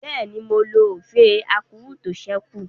Bẹ́ẹ̀ni, mo lo ófé ákwú tó ṣẹ́ kù